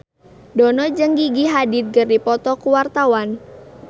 Dono jeung Gigi Hadid keur dipoto ku wartawan